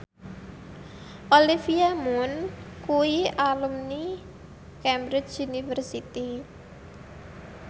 Olivia Munn kuwi alumni Cambridge University